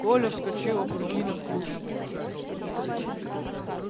коля вскочил опрокинув кружку